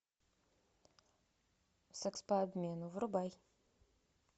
секс по обмену врубай